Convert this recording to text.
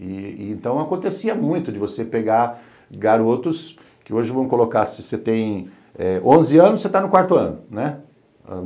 E e então acontecia muito de você pegar garotos, que hoje vamos colocar, se você tem eh onze anos, você está no quarto ano, né?